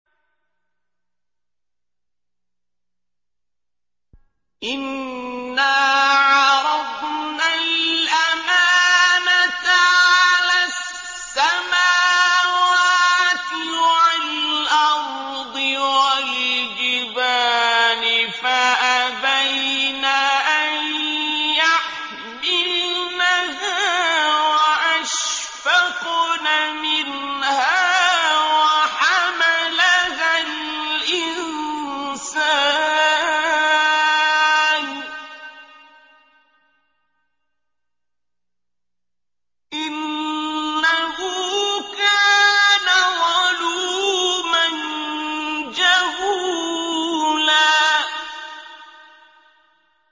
إِنَّا عَرَضْنَا الْأَمَانَةَ عَلَى السَّمَاوَاتِ وَالْأَرْضِ وَالْجِبَالِ فَأَبَيْنَ أَن يَحْمِلْنَهَا وَأَشْفَقْنَ مِنْهَا وَحَمَلَهَا الْإِنسَانُ ۖ إِنَّهُ كَانَ ظَلُومًا جَهُولًا